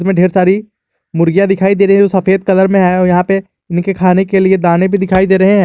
ढेर सारी मुर्गियां दिखाई दे रही है जो सफेद कलर में है और यहां पे उनके खाने के लिए दाने भी दिखाई दे रहे हैं।